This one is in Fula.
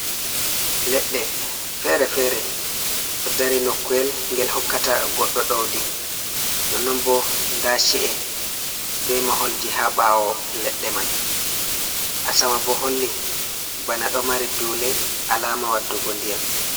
Leɗɗe fere-fere ɗo dari nokuwel gel hokkata goɗɗo ɗawdi no non bo nda ci’e be maholji ha ɓawo leɗɗe man. Asama bo holli bana ɗo mari dule alama waɗugo ndiyam.